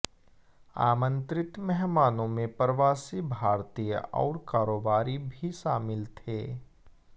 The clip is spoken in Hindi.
आमंत्रित मेहमानों में प्रवासी भारतीय और कारोबारी भी शामिल थे